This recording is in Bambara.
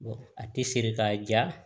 a tɛ siri k'a ja